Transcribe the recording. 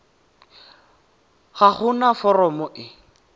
ga go na foromo e